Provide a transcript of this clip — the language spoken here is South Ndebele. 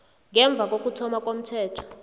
ngemva kokuthoma komthetho